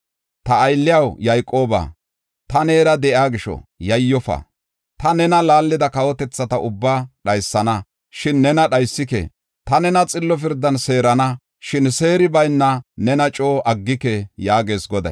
Ta aylliyaw, Yayqooba, ta neera de7iya gisho, yayyofa. Ta nena laallida kawotethata ubbaa dhaysana; shin nena dhaysike. Ta nena xillo pirdan seerana; shin seeri bayna nena coo aggike” yaagees Goday.